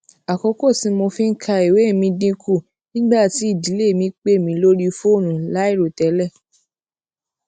àkókò tí mo fi ń ka ìwé mi dín kù nígbà tí ìdílé mi pè mí lórí fóònù láìròtélè